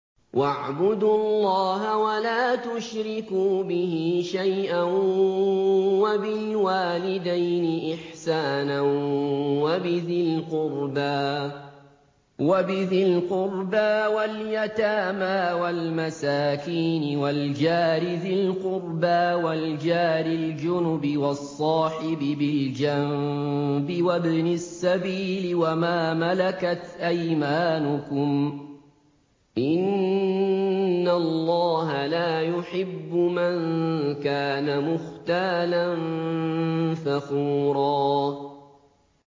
۞ وَاعْبُدُوا اللَّهَ وَلَا تُشْرِكُوا بِهِ شَيْئًا ۖ وَبِالْوَالِدَيْنِ إِحْسَانًا وَبِذِي الْقُرْبَىٰ وَالْيَتَامَىٰ وَالْمَسَاكِينِ وَالْجَارِ ذِي الْقُرْبَىٰ وَالْجَارِ الْجُنُبِ وَالصَّاحِبِ بِالْجَنبِ وَابْنِ السَّبِيلِ وَمَا مَلَكَتْ أَيْمَانُكُمْ ۗ إِنَّ اللَّهَ لَا يُحِبُّ مَن كَانَ مُخْتَالًا فَخُورًا